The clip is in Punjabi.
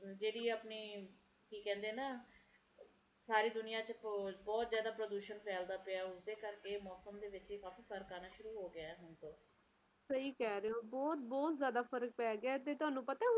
ਜਿਹੜੇ ਆਪਣੇ ਕੀ ਕਹਿੰਦੇ ਨਾ ਸਾਰੀ ਦੁਨੀਆਂ ਵਿਚ ਬਹੁਤ-ਬਹੁਤ ਜ਼ਿਆਦਾ ਪ੍ਰਦੂਸ਼ਣ ਫੈਲਦਾ ਪਿਆ ਓਸੇ ਕਰਕੇ ਮੌਸਮ ਦੇ ਵਿਚ ਵੀ ਕਾਫੀ ਫਰਕ ਆਉਣਾ ਸ਼ੁਰੂ ਹੋ ਘ ਸਹੀ ਕਹਿ ਰਿਹੋ ਬਹੁਤ-ਬਹੁਤ ਜ਼ਿਆਦਾ ਫਰਕ ਪੈ ਗਿਆ ਤੇ ਤੁਹਾਨੂੰ ਪਤਾ